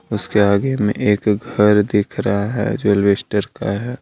उसके आगे मे एक घर दिख रहा है जो अल्बेस्टर का है।